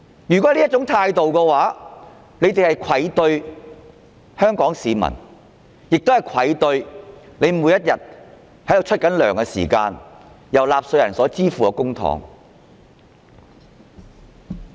如果他們抱有這種態度，便愧對香港市民，亦愧對繳稅支付其薪酬的納稅人。